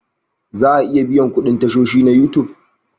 Za a iya biyan kuɗin tashoshi na You Tube